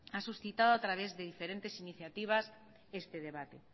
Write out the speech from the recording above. ha suscitado a través de diferentes iniciativas este debate